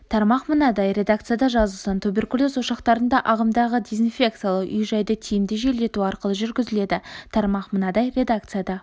тармақ мынадай редакцияда жазылсын туберкулез ошақтарында ағымдағы дезинфекциялау үй-жайды тиімді желдету арқылы жүргізіледі тармақ мынадай редакцияда